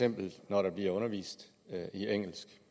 når der bliver undervist